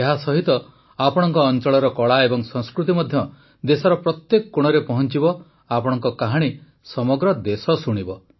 ଏହାସହିତ ଆପଣଙ୍କ ଅଂଚଳର କଳା ଏବଂ ସଂସ୍କୃତି ମଧ୍ୟ ଦେଶର ପ୍ରତ୍ୟେକ କୋଣରେ ପହଂଚିବ ଆପଣଙ୍କ କାହାଣୀ ସମଗ୍ର ଦେଶ ଶୁଣିବ